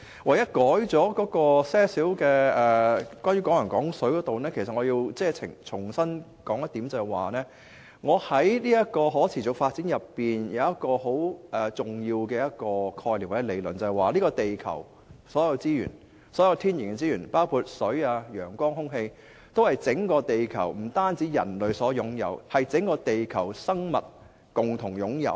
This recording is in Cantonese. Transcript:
我只在"港人港水"方面作出了少許更改，其實我要重申，就是我在可持續發展內有一個很重要的概念或理論，就是這個地球的所有天然資源，包括水、陽光和空氣，都是不單是人類所擁有，而是整個地球的生物共同擁有。